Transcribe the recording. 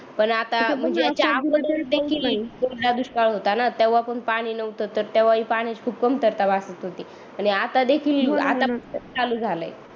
पण आता कोरडा दुष्काळ होता न तेव्हा पण पाणी नव्हता तर तेव्हा हि पाण्याची खूप कमतरता वाटत होती आणि आता देखील चालू झालंय